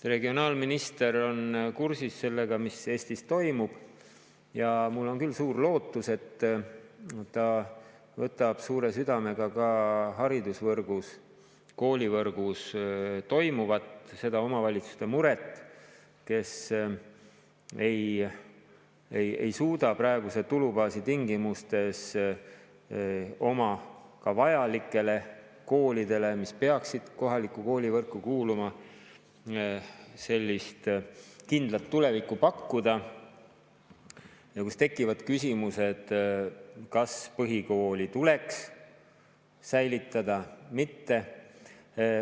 Regionaalminister on kursis sellega, mis Eestis toimub, ja mul on küll suur lootus, et ta võtab suure südamega ka haridusvõrgus, koolivõrgus toimuvat – seda muret omavalitsustel, kes ei suuda praeguse tulubaasi tingimustes ka vajalikele koolidele, mis peaksid kohalikku koolivõrku kuuluma, kindlat tulevikku pakkuda ja kus tekivad küsimused, kas põhikool tuleks säilitada või mitte.